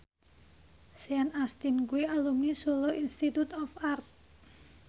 Sean Astin kuwi alumni Solo Institute of Art